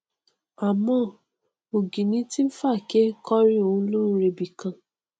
àmọ́ ọgìnìntìn fàáké kọrí ó lóun ò rebìkan